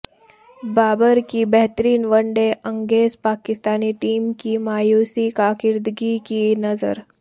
بابر کی بہترین one day innings Pakistani team کی مایوس کاکردگی کی نذر